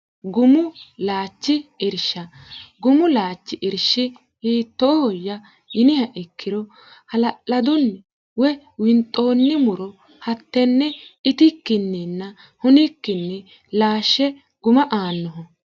gumu laachi irsha gumu laachi irshi hiittoohoyya yiniha ikkiro hala'ladunni woy winxoonni muro hattenne itikkinninna hunikkinni laashshe guma aannoho